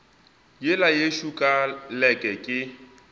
yela yešo ka leke ke